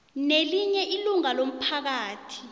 nelinye ilunga lomphakathi